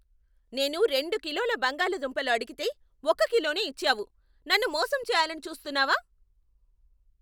నేనురెండు కిలోల బంగాళదుంపలు అడిగితే, ఒక్క కిలోనే ఇచ్చావు! నన్ను మోసం చేయాలని చూస్తున్నావా?